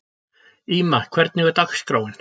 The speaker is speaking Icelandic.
Íma, hvernig er dagskráin?